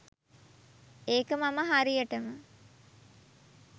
ඒක මම හරියටම.